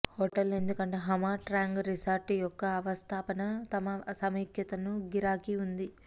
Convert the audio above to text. hotel ఎందుకంటే Nha Trang resort యొక్క అవస్థాపన తమ సమైక్యతను గిరాకీ ఉంది